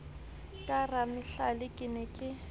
ke ramahlale ke ne ke